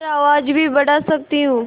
और आवाज़ भी बढ़ा सकती हूँ